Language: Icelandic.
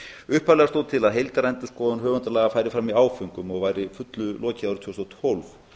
upphaflega stóð til að heildarendurskoðun höfundalaga færi fram í áföngum og væri að fullu lokið árið tvö þúsund og tólf